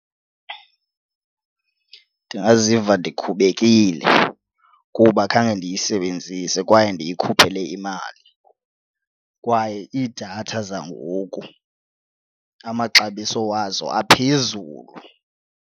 Ndingaziva ndikhubekile kuba khange ndiyisebenzise kwaye ndiyikhuphele imali kwaye iidatha zangoku amaxabiso wazo aphezulu.